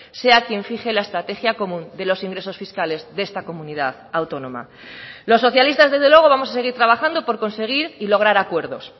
sea quien fije la estrategia común de los ingresos fiscales de esta comunidad autónoma los socialistas desde luego vamos a seguir trabajando por conseguir y lograr acuerdos